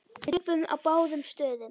Við töpuðum á báðum stöðum.